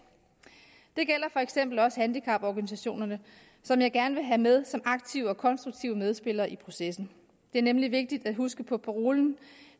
det gælder for eksempel også handicaporganisationerne som jeg gerne vil have med som aktive og konstruktive medspillere i processen det er nemlig vigtigt at huske på parolen